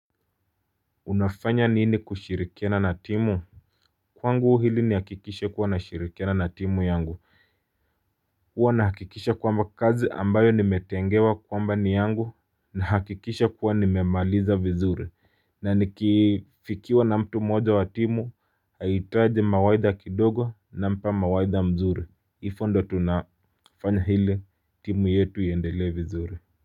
Unafanya nini kushirikiana na timu. Kwangu ili nihakikishe kuwa na shirikiana na timu yangu huwa nahakikisha kwamba kazi ambayo nimetengewa kwamba ni yangu na hakikisha kuwa nimemaliza vizuri na nikifikiwa na mtu moja wa timu haitaji mawaidha kidogo na mpa mawaidha mzuri. Ihivo ndio tunafanya ili timu yetu iendele vizuri